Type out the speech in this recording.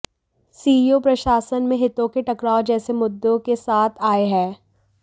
COA प्रशासन में हितों के टकराव जैसे मुद्दों के साथ आए हैं